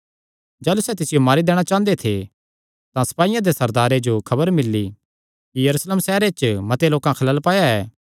जाह़लू सैह़ तिसियो मारी दैणा चांह़दे थे तां सपाईयां दे सरदारे जो खबर घल्ली कि यरूशलेम सैहरे च मते लोकां खलल पाया ऐ